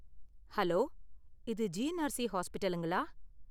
Hello! இது GNRC ஹாஸ்பிடலுங்களா?